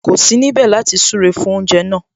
Kò sí níbẹ̀ láti súre fún oúnjẹ náà